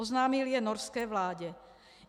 Oznámil je norské vládě.